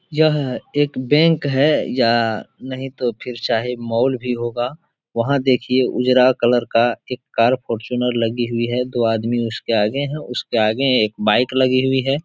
यह एक बैंक है या नही तो फिर चाहे मॉल भी होगा वहा देखिये उजरा कलर का एक कार फार्चूनर लगी हुई है। दो आदमी उसके आगे है। उसके आगे एक बाइक लगी हुई है।